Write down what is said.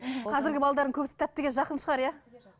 қазіргі балалардың көбісі тәттіге жақын шығар иә